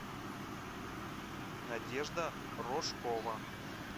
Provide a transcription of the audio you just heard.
надежда рожкова